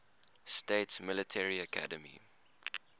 states military academy